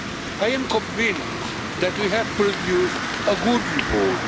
I am convinced that we have produced a good report.